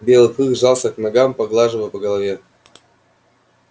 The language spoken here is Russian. белый клык жался к ногам хозяина и тот успокаивал его ласково поглаживая по голове